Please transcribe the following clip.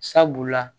Sabula